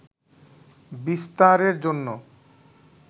বিস্তারের জন্য